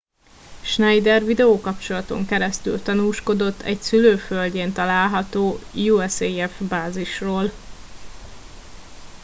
schneider videókapcsolaton keresztül tanúskodott egy szülőföldjén található usaf bázisról